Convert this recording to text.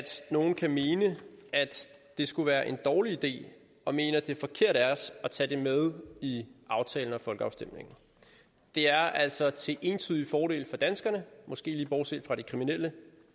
nogle kan mene at det skulle være en dårlig idé og mene at det er forkert af os at tage det med i aftalen og i folkeafstemningen det er altså til entydig fordel for danskerne måske lige bortset fra de kriminelle